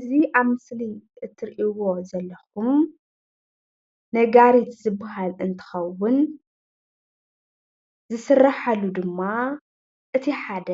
እዚ ኣብ ምስሊ እትሪእዎ ዘለኩም ነጋሪት ዝባሃል እንትከውን ዝስራሓሉ ድማ እቲ ሓደ